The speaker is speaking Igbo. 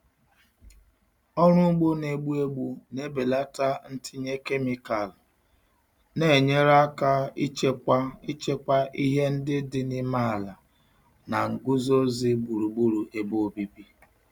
Ọrụ ugbo na-egbu egbu na-ebelata ntinye kemịkalụ, na-enyere aka ichekwa ichekwa ihe ndị dị n'ime ala na nguzozi gburugburu ebe obibi.